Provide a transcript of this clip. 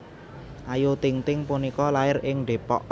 Ayu Ting Ting punika lair ing Depok